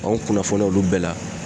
Kanw kunnafoniya olu bɛɛ la.